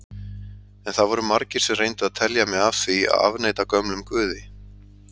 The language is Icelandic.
En það voru margir sem reyndu að telja mig af því að afneita gömlum guði.